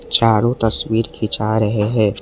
चारों तस्वीर खींचा रहे है।